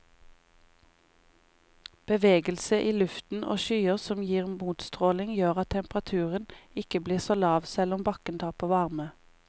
Bevegelse i luften og skyer som gir motstråling gjør at temperaturen ikke blir så lav, selv om bakken taper varme.